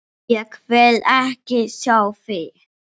Ég vil ekki sjá þig!